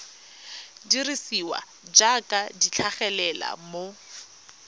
dirisiwa jaaka di tlhagelela mo